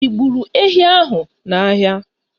Ị gburu ehi ahụ n'ahịa?